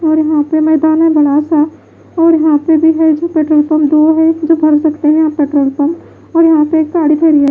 और यहां पे मैदान है बड़ा सा और यहां पे भी है जो पेट्रोल पंप दो है जो भर सकते है आप पेट्रोल पंप और यहां पे एक गाड़ी खड़ी --